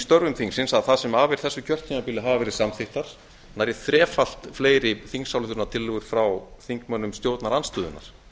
störfum þingsins að það sem af er þessu kjörtímabili hafa verið samþykktar nærri þrefalt fleiri þingsályktunartillögur frá þingmönnum stjórnarandstöðunnar